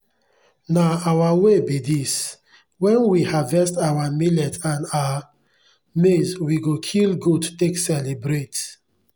na our way be this. when we harvest our millet and our maize we go kill goat take celebrate.